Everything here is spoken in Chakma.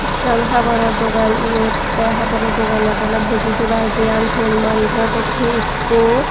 ekkan haboro dogan eyot tey haboro dogan ola boji tebar diyan tul manjo dokkey ekkho.